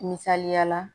Misaliya la